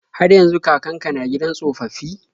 Har yanzu kakan ka na gidan tsofaffi?